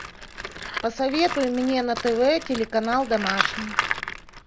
посоветуй мне на тв телеканал домашний